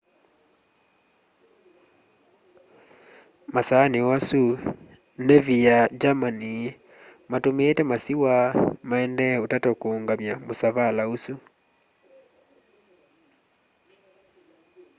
masaani o asu navi ya germani matumiite masiwa maendee utata kuungamya musavala usu